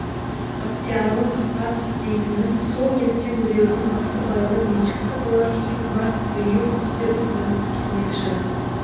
ықтиярлы қапас дейтінім сол ертең біреудің басыбайлы меншіктісі болар күйім бар биыл күзде ұрын келмекші